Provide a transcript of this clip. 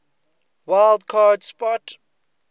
wild card spot